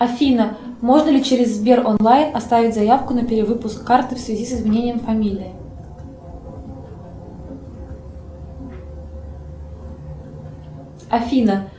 афина можно ли через сбер онлайн оставить заявку на перевыпуск карты в связи с изменением фамилии афина